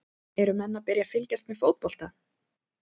Eru menn að byrja að fylgjast með fótbolta?